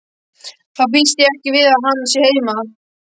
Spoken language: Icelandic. Þá býst ég ekki við að hann sé heima